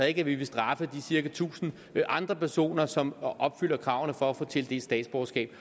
ikke at vi vil straffe de cirka tusind andre personer som opfylder kravene for at få tildelt statsborgerskab